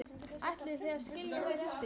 Ætlið þið að skilja þær eftir?